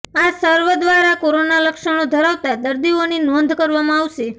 આ સર્વે દ્વારા કોરોના લક્ષણો ધરાવતા દર્દીઓની નોંધ કરવામાં આવશે